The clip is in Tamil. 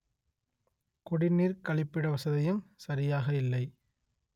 குடிநீர் கழிப்பிட வசதியும் சரியாக இல்லை